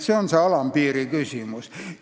See on see alampiiri küsimus.